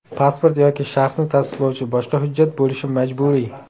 Pasport yoki shaxsni tasdiqlovchi boshqa hujjat bo‘lishi majburiy.